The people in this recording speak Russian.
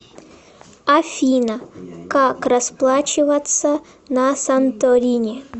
афина как расплачиваться на санторини